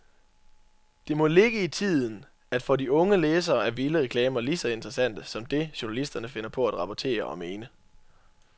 Det må ligge i tiden, at for de unge læsere er vilde reklamer lige så interessante som det, journalisterne finder på at rapportere og mene.